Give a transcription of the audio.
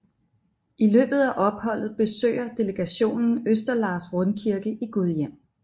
I løbet af opholdet besøger delegationen Østerlars Rundkirke i Gudhjem